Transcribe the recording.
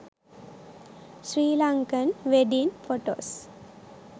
sri lankan wedding photos